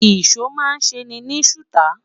ìsọ má n se ni suta